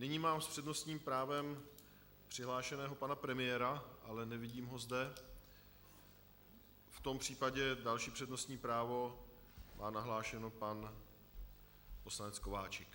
Nyní mám s přednostním právem přihlášeného pana premiéra, ale nevidím ho zde, v tom případě další přednostní právo má nahlášeno pan poslanec Kováčik.